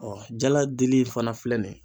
jala dili fana filɛ nin ye